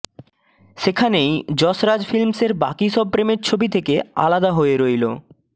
সেখানেই যশ রাজ ফিল্মসের বাকি সব প্রেমের ছবি থেকে আলাদা হয়ে রইল